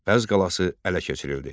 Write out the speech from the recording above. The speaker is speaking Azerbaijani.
Bəzz qalası ələ keçirildi.